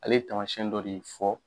Ale ye taamasiyɛn dɔ de fɔ.